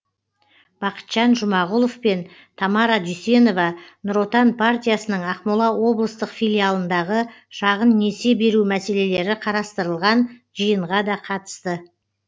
бақытжан жұмағұлов пен тамара дүйсенова нұр отан партиясының ақмола облыстық филиалындағы шағын несие беру мәселелері қарастырылған жиынға да қатысты